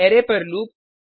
array पर loop